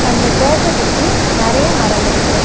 அந்த சர்ச்ச சுத்தி நெறைய மரம் இருக்கு.